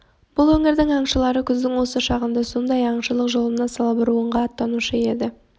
бұл өңірдің аңшылары күздің осы шағында сондай аңшылық жолына салбуырынға аттанушы еді